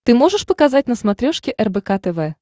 ты можешь показать на смотрешке рбк тв